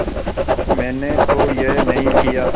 मैंने तो यह नहीं किया